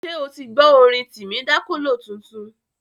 Ṣé o ti gbọ́ orin Timi Dakolo tuntun?